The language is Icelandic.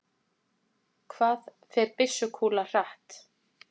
Hvað fer byssukúla hratt?